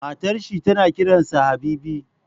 Matar shi tana kiran sa Habibi